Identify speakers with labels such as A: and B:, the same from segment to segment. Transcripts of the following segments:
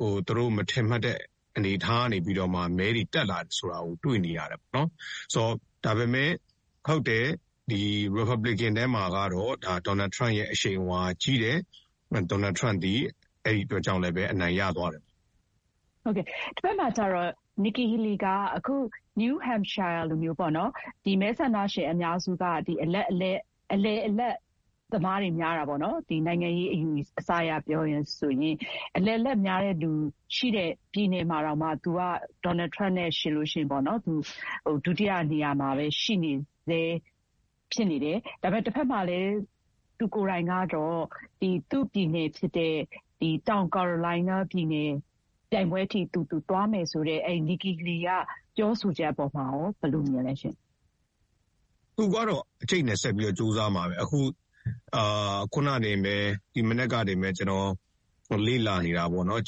A: သူတို့မထင်မှတ်တဲ့အနေအထားကနေပြီးတော့မှ မဲတွေတက်လာတယ်ဆိုတာကို တွေ့နေရတယ်ပေါ့နော်။ ဒါပေမဲ့ ဟုတ်ယ်၊ ရီပတ်ဘလီကန်ထဲမှာကတော့ ဒေါ်နယ်ထရမ့်ရဲ့အရှိန်အဝါကတော့ ကြီးတယ်။ ဒေါ်နယ်ထရမ့်သည် အဲဒီအတွက်ကြောင့်လည်းပဲ အနိုင်ရသွားတယ်။
B: တဘက်မှာကျတော့ Nikki Haley က နယူးဟမ့်ရှိုင်းယားလိုမျိုး မဲဆန္ဒရှင်အများစုက အလယ်အလတ်သမားတွေများတာပေါ့နော်။ နိုင်ငံရေးအယူအဆအရ ပြောရရင် အလယ်အလတ်များတဲ့သူရှိိတဲ့ပြည်နယ်မှာတောင်မှ သူက ဒေါ်နယ်ထရမ့်နဲ့ယှဥ်ရင် ဒုတိယနေရာမှာပဲ ရှိနေဆဲဖြစ်နေတယ်။ ဒါပေမဲ့ တဘက်မှာလည်း သူကိုယ်တိုင်ကတော့ သူ့ပြည်နယ်ဖြစ်တဲ့ တောင်ကာရိုလိုင်းနားပြည်နယ်အထိ သူသွားမယ်ဆိုတဲ့ Nikki Haley က ပြောဆိုချက်အပေါ်မှာရော ဘယ်လိုမြင်လဲရှင့်။
A: သူကတော့ အကြိတ်အနယ်ဆက်ပြီးတော့ ကြိုးစားမှာပဲ။ အခု ဒီမနက်မှာတင်ပဲ ကျနော်လေ့လာနေတာပေါ့နော်။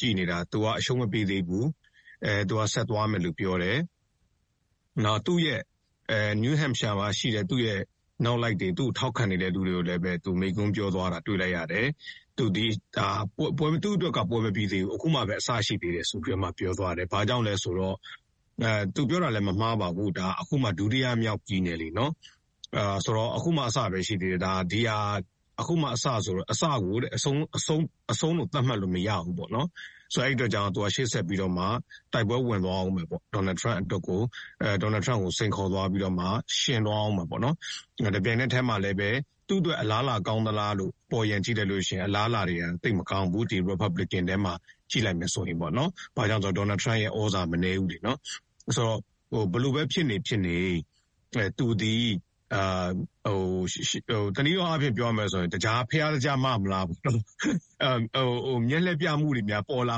A: သူက အရှုံးမပေးသေးဘူး၊ ဆက်သွားမယ်လို့ ပြောတယ်။ နောက်ပြီး နယူးဟမ့်ရှိုင်းယားမှာရှိတဲ့ နောက်လိုက်တွေ၊ သူ့ကိုထောက်ခံတဲ့သူတွေ ကိုလည်းပဲ မိိန့်ခွန်းပြောသွားတာ တွေ့လိုက်ရတယ်။ သူ့အတွက်က ပွဲမပြီးသေးဘူး၊ အခုမှ အစပဲရှိိသေးတယ် ဆိုပြီးတော့မှ ။ သူပြောတာလည်း မမှားပါဘူး၊ ဒါ အခုမှ ဒုတိယမြောက် ပြည်နယ်လေ၊ နော်။ အခုမှ အစပဲရှိသေးတယ်။ အစကို အဆုံးလို့ သတ်မှတ်လို့မရဘူးပေါ့နော်။ အဲဒီအတွက်ကြောင့် ရှေ့ဆက်ပြီးတော့မှ တိုက်ပွဲဝင်သွားအုံးမယ်ပေါ့၊ ဒေါ်နယ်ထရမ့်ကိုစိန်ခေါ်သွားပြီးတော့မှ ယှဥ်သွားအုံးမယ်ပေါ့နော်။ တပြိုင်နက်တည်းမှာပဲ သူ့အတွက်အလားအလာကောင်းသလားလို့ အပေါ်ယံကြည့်လိုက်လို့ရှိိရင် အလားအလာသိပ်မကောင်းဘူး။ ဒီ ရီပတ်ဘလစ်ကန်ထဲမှာ ကြည့်လိုက်မယ်ဆိုရင်ပေါ့နော်။ ဘာကြောင့်လဲဆိုတော့ ဒေါ်နယ်ထရမ့်ရဲ့သြဇာက မနည်းဘူးလေ-နော်။ ဆိုတော့ ဘယ်လိုပဲဖြစ်နေ ဖြစ်နေ သူသည် တနည်းအားဖြင့် ပြောရမယ်ဆိုရင် ဘုရားသိကြား မ-မလား၊ မျက်လှည့်ပြမှုတွေများပေါ်လာ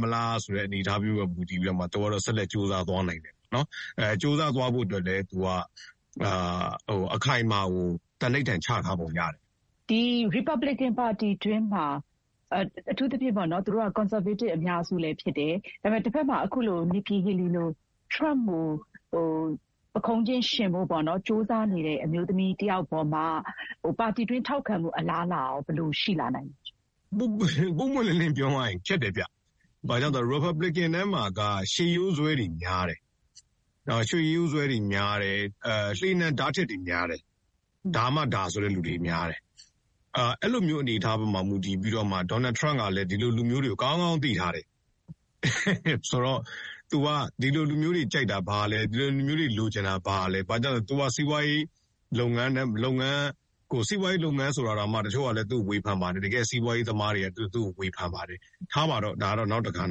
A: မလားဆိုတဲ့ အနေအထားမျိုးမှာ မူတည်ပြီးတော့ သူကတော့ ဆက်လက် ကြိုးစားသွားနိုင်တယ်။ ကြိုးစားသွားဖို့အတွက်လည်း အခိုင်အမာကို သံန္နိဌာန်ချထားပုံရတယ်။
B: ရီပတ်ဘလစ်ကန်ပါတီတွင်းမှာ အထူးသဖြင့်ပေါ့နော်၊ သူတို့က ကွန်ဆာဗေးတစ် အများစုဖြစ်တယ်၊၊ ဒါပေမဲ့ တဘက်မှာ ထရမ့်ကို ပုခုံးချင်းယှဥ်ဖို့ ကြိုးစားနေတဲ့အမျိုးသမီးတယောက်အပေါ်မှာ ပါတီတွင်း ထောက်ခံမှုအလားလာကရော ဘယ်လိုရှိလာနိုင်လဲ၊
A: ပွင့်ပွင့်လင်းလင်းပြောရရင် ခက်တယ်ဗျ။ ဘာလို့လဲဆို ရီပတ်ဘလစ်ကန်ထဲမှာက ရှေးရိုးစွဲတွေများတယ်။ လှေနံဓားထစ်တွေများတယ်။ ဒါမှဒါ ဆိုတဲ့သူတွေများတယ်။ အဲလိုအနေအထားပေါ်မှာ မူတည်ပြီးတော့မှ ဒေါ်နယ်ထရမ့်ကလည်း ဒီလိုလူမျိုးတွေကို ကောင်းကောင်းသိထားတယ်။ သူက ဒီလိုလူမျိုုးတွေကြိုက်တာဘာလဲ၊ ဒီလိုလူမျိုးတွေလိုချင်တာဘာလဲ၊…သူက စီးပွါးရေးလုပ်ငန်း ဆိုတာတောင်မှ တချို့က သူ့ကို ဝေဖန်ပါတယ်လေ။ တကယ့်စီးပွါးရေးသမားတွေက သူ့ကို ဝေဖန်ပါတယ်။ ထားပါတော့- ဒါကတော့ နောက်တက္ဍပေါ့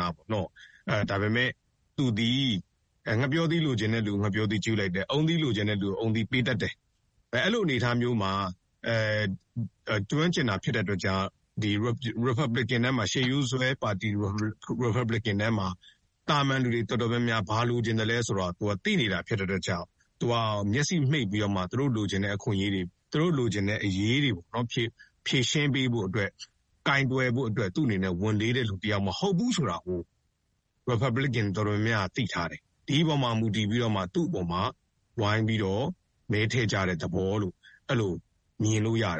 A: နော။ ဒါပေမဲ့ သူသည် ငှက်ပျောသီးလိုချင်တဲ့သူကို ငှက်ပျောသီးကျွေးလိုက်တယ်။ အုန်းသီးလိုချင်တဲ့သူကို အုန်းသီး ပေးတတ်တယ်။ အဲလိုအနေအထားမျိုးမှာ ကျွမ်းကျင်တာဖြစ်တဲ့အတွက်ကြောင့် ရီပတ်ဘလစ်ကန် ရှေးရိုးစွဲပါတီ ရီပတ်ဘလစ်ကန်ထဲမှာ သာမန်လူတွေတော်တော်များများ ဘာလိုချင်သလဲဆိုတာ သူက သိနေတာဖြစ်တဲ့အတွက်ကြောင့် မျက်စိမှိတ်ပြီးတော့မှ သူတို့လိုချင်တဲ့အခွင့်အရေးတွေ၊ သူတို့လိုချင်တဲ့အရေးတွကို ဖြေရှင်းပေးဖို့အတွက်၊ ကိုင်တွယ်ဖို့အတွက် သူ့အနေနဲ့ ဝန်လေးတဲ့သူတယောက် မဟုတ်ဘူးဆိုတာကို ရီပတ်ဘလစ်ကန်တော်တော်များများက သိထားတယ်။ ဒီအပေါ်မှာမူတည်ပြီးတော့မှ သူ့အပေါ်မှာ ဝိုင်းပြီးတော့ မဲထည့်ကြတဲ့သဘောလို့ အဲလို မြင်လို့ရတယ